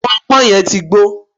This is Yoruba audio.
pọnpọn yẹn ti gbó